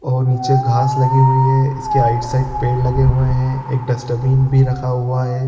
और नीचे घास लगी हुईं है इसके आइट साइड पेड़ लगे हुए है एक डस्ट्बिन भी रखा हुआ है।